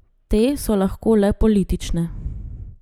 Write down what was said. Te so lahko le politične.